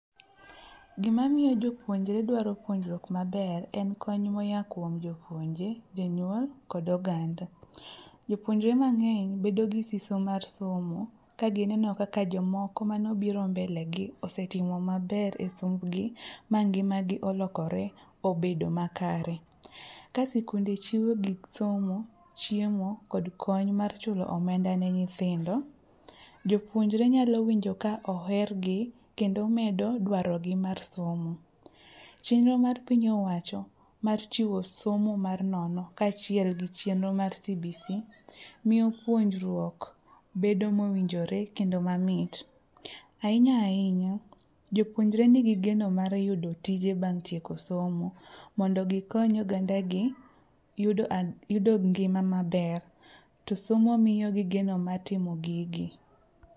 Gima miyo jopuonjre dwaro puonjruok maber en kony moya kuom jopuonje, jonyuol kod oganda. Jopuonjre mang'eny bedo gi siso mar somo kagineno kaka jomoko manobiro mbelegi osetimo maber e sombgi ma ngimagi olokore obedo makare. Ka sikunde chiwo gik somo, chiemo kod kony mar chulo omenda ne nyithindo, jopuonjre nyalo winjo ka ohergi kendo medo dwarogi mar somo. Chenro mar piny owacho mar chiwo somo mar nono kaachiel gi chenro mar CBC miyo puonjruok bedo mowinjore kendo mamit. Ahinya ahinya, jopuonjre nigi geno mar yudo tije bang' tieko somo mondo gikony ogandagi yudo ngima maber to somo miyogi geno ma timo gigi.